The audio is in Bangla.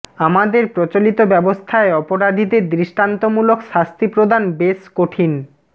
আমাদের প্রচলিত ব্যবস্থায় অপরাধীদের দৃষ্টান্তমূলক শাস্তি প্রদান বেশ কঠিন